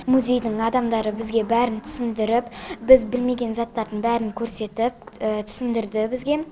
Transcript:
музейдің адамдары бізге бәрін түсіндіріп біз білмеген заттардың бәрін көрсетіп түсіндірді бізге